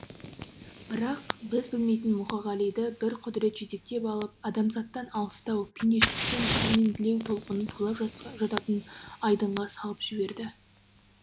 бірақ біз білмейтін мұқағалиды бір құдірет жетектеп алып адамзаттан алыстау пендешіліктен пәрменділеу толқыны тулап жататын айдынға салып жіберді